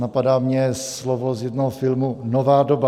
Napadá mě slovo z jednoho filmu - nová doba.